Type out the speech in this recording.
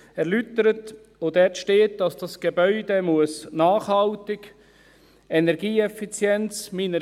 Dort steht, dass das Gebäude nachhaltig, energieeffizient sein muss.